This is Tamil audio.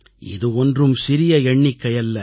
இது ஒன்றும் சிறிய எண்ணிக்கை அல்ல